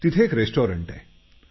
तिथे एक रेस्टॉरंट आहे